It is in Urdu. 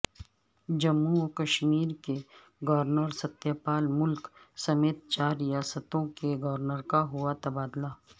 جموں وکشمیر کے گورنر ستیہ پال ملک سمیت چار ریاستوں کے گورنر کا ہوا تبادلہ